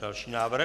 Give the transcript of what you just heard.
Další návrh?